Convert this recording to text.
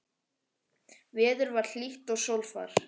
Veður var hlýtt og sólfar.